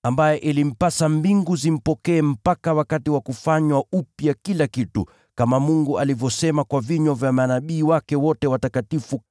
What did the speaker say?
Ilimpasa mbingu zimpokee mpaka wakati wa kufanywa upya kila kitu, kama Mungu alivyoahidi zamani kupitia kwa vinywa vya manabii wake watakatifu.